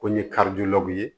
Ko n ye ye